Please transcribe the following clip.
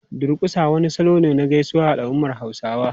Durƙusa wani salo ne na gaisuwa a al’ummar Hausawa.